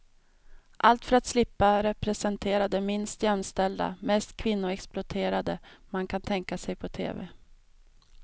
Allt för att slippa representera det minst jämställda, mest kvinnoexploaterande man kan tänka sig på tv.